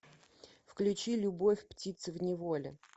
включи любовь птицы в неволе